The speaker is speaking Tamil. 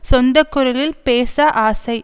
சொந்த குரலில் பேச ஆசை